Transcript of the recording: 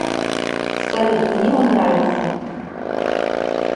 салют мне он нравится